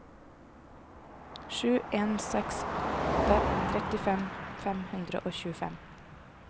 sju en seks åtte trettifem fem hundre og tjuefem